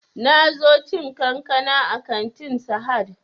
Na zo cin kankana a kantin sahad